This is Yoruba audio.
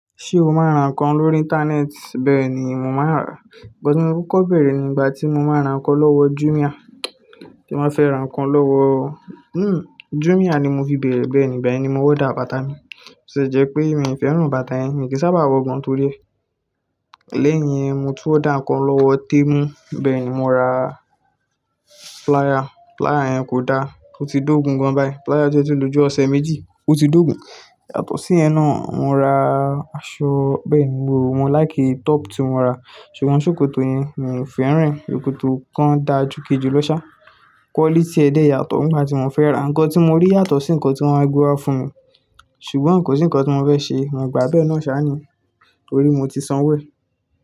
Ṣé o máa ń ra nǹkan lórí Íńtánẹ́ẹ̀tì? Bẹ́ẹ̀ ni mo máa ń rà. Ìgbọ́mi kúkọ bẹ̀rẹ̀ nígbà tí mo máa ń ra nǹkan lọ́wọ Jumia. Tí mo fẹ́ ra nǹkan lọ́wọ Jumia ni mo fi bẹ̀rẹ̀ bẹ́ẹ̀ nígbà ẹni ni mo wá dà bàtà mi. Sé jẹ́ pé mi ò fẹ́ràn bàtà yẹn, mi kì í sábàà wọ gan tó rẹ́. Lẹ́yìn yẹn, mo tún wá dà nǹkan lọ́wọ Temu. Bẹ́ẹ̀ ni mo ra pláya. Pláya yẹn kò dáa, ó ti dógùn gan báyìí. Pláya jẹ́ ti ìlú ọ̀sẹ̀ méjì, ó ti dógùn. Yàtọ̀ sí yẹn náà, mo ra aṣọ. Bẹ́ẹ̀ ni mo wò ó, mo láìké top tí mo ra, ṣùgbọ́n ṣòkòtò ni mò ń fẹ́ rìn. Òkòtò kan dáa jù kejì lọ sá. Quality ẹ̀ dáa yàtọ̀ nígbà tí mò ń fẹ́ ra. Nǹkan tí mo rí yàtọ̀ sí nǹkan tí wọ́n ra fún mi, ṣùgbọ́n kò sí nǹkan tí mo fẹ́ ṣe, mò ń gbà á bẹ́ẹ̀ náà sá ni. Nítorí mo ti san wé.